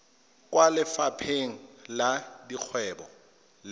kwa lefapheng la dikgwebo le